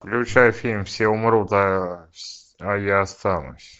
включай фильм все умрут а я останусь